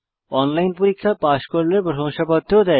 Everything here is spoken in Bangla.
অনলাইন পরীক্ষা পাস করলে প্রশংসাপত্র দেয়